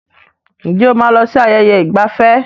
Ǹjẹ́ o máa lọ sí ààyè ìgbafẹ́?